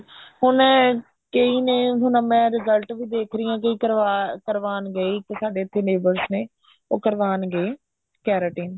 ਹੁਣ ਕਈ ਨੇ ਹੁਣ ਮੈਂ result ਵੀ ਦੇਖ ਰਹੀ ਹਾਂ ਕਈ ਕਰਵਾਣ ਗਏ ਸਾਡੇ ਵੀ ਇੱਥੇ neighbors ਨੇ ਉਹ ਕਰਵਾਣ ਗਏ keratin